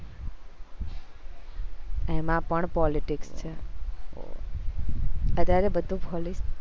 એમાં પણ politics છે અત્યારે બધું